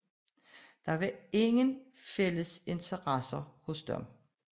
Der fandtes ikke nogen som helst fælles interesse hos dem